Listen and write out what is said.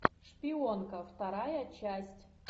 шпионка вторая часть